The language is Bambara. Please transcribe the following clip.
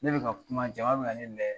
Ne bi ka kuma, jama be ka ne lajɛ.